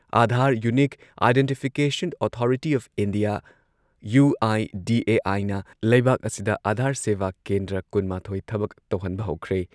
Aadhaar unique identification authority of India UIDAI ꯅ ꯂꯩꯕꯥꯛ ꯑꯁꯤꯗ ꯑꯥꯙꯥꯔ ꯁꯦꯚꯥ ꯀꯦꯟꯗ꯭ꯔ ꯀꯨꯟ ꯃꯥꯊꯣꯏ ꯊꯕꯛ ꯇꯧꯍꯟꯕ ꯍꯧꯈ꯭ꯔꯦ ꯫